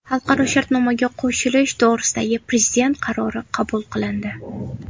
Xalqaro shartnomaga qo‘shilish to‘g‘risidagi Prezident qarori qabul qilindi.